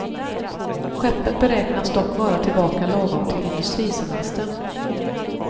Skeppet beräknas dock vara tillbaka lagom till industrisemestern.